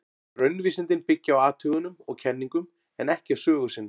Raunvísindin byggja á athugunum og kenningum, en ekki á sögu sinni.